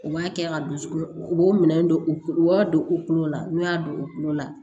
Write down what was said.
U b'a kɛ ka don sugu u b'o minɛnw don u u b'a don u kulo la n'u y'a don u kulo la